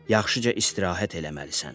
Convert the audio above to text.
Yaxşıca istirahət eləməlisən.